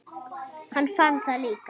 Hann fann það líka.